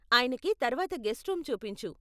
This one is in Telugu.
ఆయనకి తర్వాత గెస్ట్ రూమ్ చూపించు.